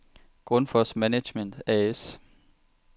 Grundfos Management A/S